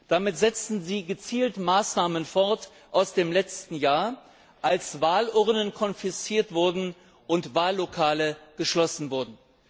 Damit setzten sie gezielt Maßnahmen aus dem letzten Jahr fort, als Wahlurnen konfisziert und Wahllokale geschlossen wurden.